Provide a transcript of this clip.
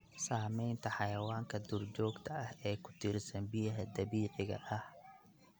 Saamaynta xayawaanka duurjoogta ah ee ku tiirsan biyaha dabiiciga ah.